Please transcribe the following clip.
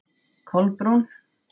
Kolbrún